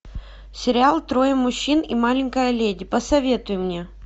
сериал трое мужчин и маленькая леди посоветуй мне